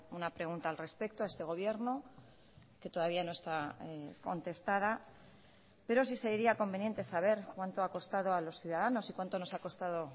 una pregunta al respecto a este gobierno que todavía no está contestada pero sí sería conveniente saber cuánto ha costado a los ciudadanos y cuánto nos ha costado